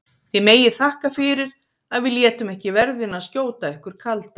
Þið megið þakka fyrir að við létum ekki verðina skjóta ykkur kalda!